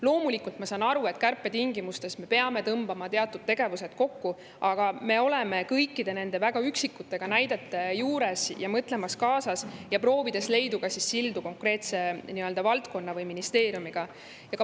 Loomulikult saan ma aru, et kärpetingimustes me peame tõmbama teatud tegevusi kokku, aga me oleme kõikide nende väga üksikute näidete juures kaasa mõtlemas ja proovime luua sildu konkreetse valdkonna või ministeeriumiga.